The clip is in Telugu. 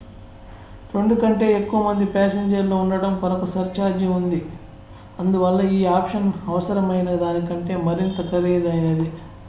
2 కంటే ఎక్కువ మంది ప్యాసింజర్ లు ఉండటం కొరకు సర్ ఛార్జీ ఉంది అందువల్ల ఈ ఆప్షన్ అవసరమైన దానికంటే మరింత ఖరీదైనది